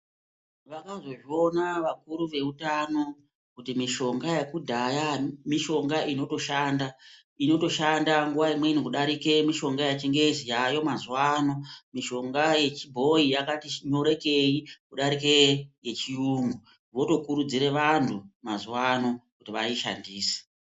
Vakazozviona vakuru veutano, kuti mishonga yekudhaya mishonga inoshanda. Inotoshanda nguwa imweni kudarike yechingezi yaayo mazuwaano. Mishonga yechibhoyi yakati shii nyorekei ,kudarike yechiyungu. Votokurudzire vantu mazuwaano kuti vaishandise.